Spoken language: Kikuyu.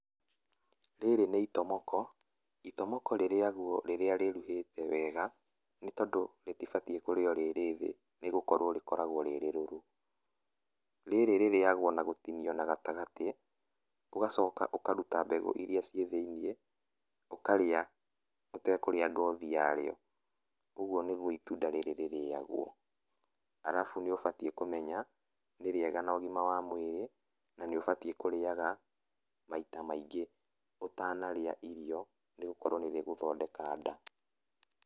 Rĩrĩ nĩ itomoko ,itomoka rĩrĩagwo rĩrĩa rĩruhĩte wega nĩ tondũ rĩtĩbatie kũrĩo rĩ rĩthĩ nĩ gũkorwo rĩkoragwo rĩrĩrũrũ, rĩrĩ rĩrĩagwo na gũtinio gatagatĩ ũgacoka ũkarũta mbegũ ĩrĩa ciĩ thĩinĩ ũkarĩa ũtekũrĩa ngothi yarĩo ũgũo nĩgũo itunda rĩrĩ rĩrĩagwo, arabu nĩ ũbatie nĩ kũmenya nĩ rĩega na ũgĩma wa mwĩrĩ na nĩ ũbatie kũrĩaga maita maingĩ ũtanarĩa irio nĩgũkorwo nĩ rĩgũthondeka nda.